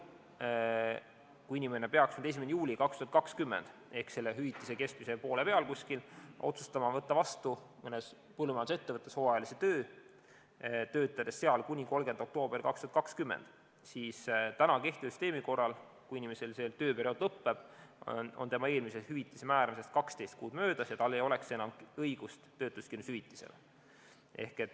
Kui inimene peaks nüüd 1. juulil 2020 ehk selle hüvitise kestmise poole peal otsustama võtta vastu mõnes põllumajandusettevõttes hooajalise töö, töötada seal kuni 30. oktoobrini 2020, siis kehtiva süsteemi korral, kui inimesel see tööperiood lõppeb, on tema eelmise hüvitise määramisest 12 kuud möödas ja tal ei oleks enam õigust töötuskindlustushüvitisele.